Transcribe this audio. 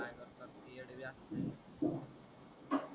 ठेऊ या